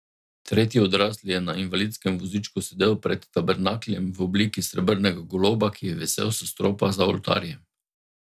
Tretji odrasli je na invalidskem vozičku sedel pred tabernakljem v obliki srebrnega goloba, ki je visel s stropa za oltarjem.